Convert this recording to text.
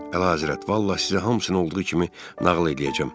Əlahəzrət, vallah, sizə hamısını olduğu kimi nağıl eləyəcəm.